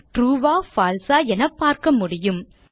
true ஆ பால்சே ஆ என பார்க்க முடியும்